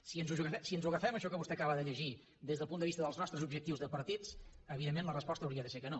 si ens ho agafem això que vostè acaba de llegir des del punt de vista dels nostres objectius de partits evidentment la resposta hauria de ser que no